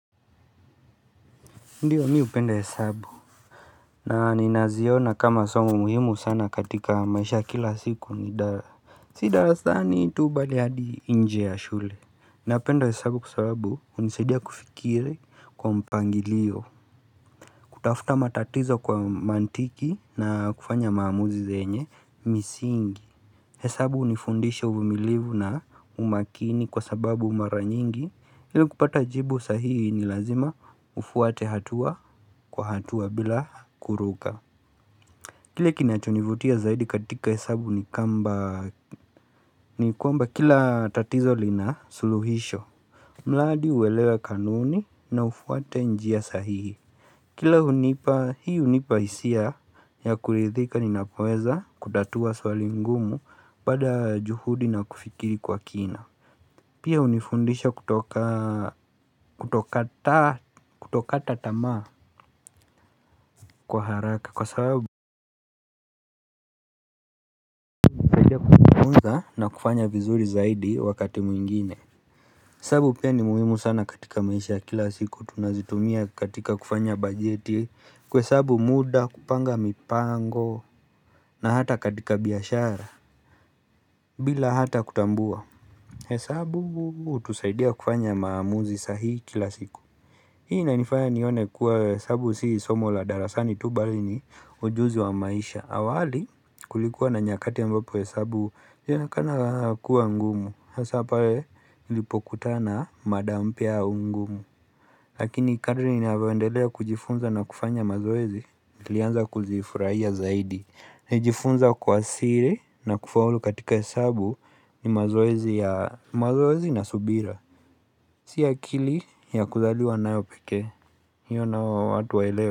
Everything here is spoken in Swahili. Ndiyo mi upenda hesabu na ninaziona kama somo muhimu sana katika maisha ya kila siku ni dara si darasani tu bali hadi nje ya shule Napenda hesabu kwa sababu hunisaidia kufikiri kwa mpangilio kutafuta matatizo kwa mantiki na kufanya maamuzi zenye misingi hesabu unifundisha uvumilivu na umakini kwa sababu mara nyingi ili kupata jibu sahihi ni lazima ufuate hatua kwa hatua bila kuruka Kile kinachonivutia zaidi katika hesabu ni kwamba kila tatizo lina suluhisho Mladi uelewe kanuni na ufuate njia sahihi Kila hunipa hii hunipa isia ya kulithika ninapoweza kutatua swali ngumu baada ya juhudi na kufikiri kwa kina Pia hunifundisha kutokata tamaa kwa haraka kwa sabu na kufanya vizuri zaidi wakati mwingine hesabu pia ni muhimu sana katika maisha ya kila siku tunazitumia katika kufanya bajeti kuhesabu muda, kupanga mipango na hata katika biashara bila hata kutambua hesabu hutusaidia kufanya maamuzi sahihi kila siku Hii inanifanya nione kuwa hesabu si somo la darasani tu bali ni ujuzi wa maisha awali kulikuwa na nyakati ambapo hesabu yaonekana kuwa ngumu Hasa pale nilipokutana na mada mpya au ngumu Lakini kadri ninavyoendelea kujifunza na kufanya mazoezi nilianza kuzifurahia zaidi Nijifunza kwa siri na kufaulu katika hesabu ni mazoezi ya mazoezi na subira Si akili ya kuzaliwa nayo pekee hiyo nayo watu waelewe.